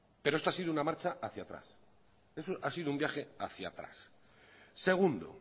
pero esto ha sido una marcha hacía atrás ha sido un viaje hacía atrás segundo